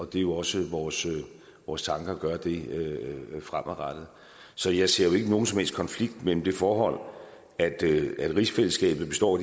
det er jo også vores vores tanke at gøre det fremadrettet så jeg ser jo ikke nogen som helst konflikt mellem det forhold at rigsfællesskabet består